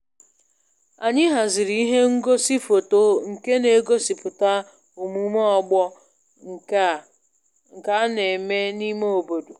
Anyị haziri ihe ngosi foto nke na-egosipụta omume ọgbọ nke a na-eme n'ime obodo